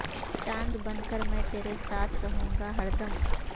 چاند بن کر میں ترے ساتھ رہوں گا ہردم